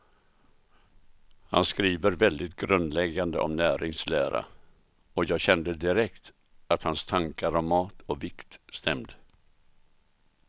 Han skriver väldigt grundläggande om näringslära, och jag kände direkt att hans tankar om mat och vikt stämde.